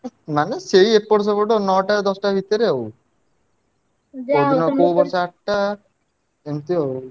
ମାନେ ସେଇ ଏପଟ ସେପଟ ନଅଟା ଦଶଟା ଭିତରେ ଆଉ। ଏମିତି ଆଉ।